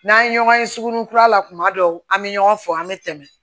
N'an ye ɲɔgɔn ye suguninkura la kuma dɔw an be ɲɔgɔn fɔ an be tɛmɛ